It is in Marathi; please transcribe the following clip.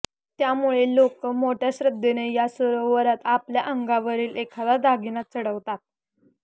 त्यामुळे लोकं मोठ्या श्रद्धेने या सरोवरात आपल्या अंगावरील एखादा दागिना चढवतात